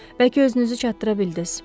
Bəlkə özünüzü çatdıra bildiniz.